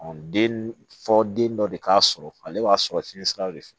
den fɔ den dɔ de k'a sɔrɔ ale b'a sɔrɔ fiɲɛ sira de fɛ